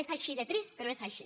és així de trist però és així